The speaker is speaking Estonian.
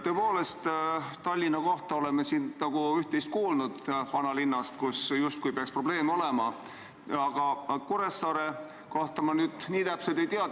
Tõepoolest, Tallinna kohta oleme siin üht-teist kuulnud, oleme kuulnud vanalinna kohta, kus justkui peaks probleeme olema, aga Kuressaare kohta ma nii täpselt ei tea.